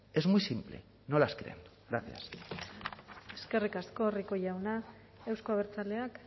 es muy simple no las creen gracias eskerrik asko rico jauna euzko abertzaleak